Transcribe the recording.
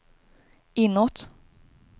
inåt